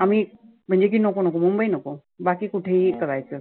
आम्ही म्हटल की नको नको मुंबई नको. बाकी कुठे ही करायचं.